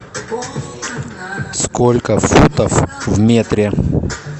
сколько футов в метре